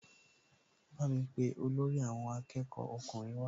Bámi pe olórí àwọn akẹ́kọ̀ọ́ ọkùnrin wá